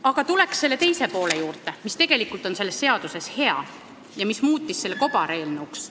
Aga tulen nüüd teise poole juurde, mis tegelikult on selles seaduses hea ja mis muutis selle eelnõu kobareelnõuks.